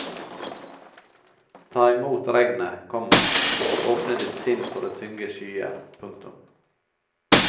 Ta imot regnet, komma åpne ditt sinn for de tunge skyer. punktum